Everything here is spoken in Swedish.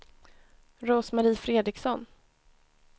Rose-Marie Fredriksson